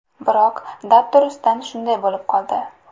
Biroq dabdurustdan shunday bo‘lib qoldi.